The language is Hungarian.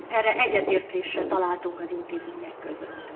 Ebben egyetértésre találtunk az intézmények között.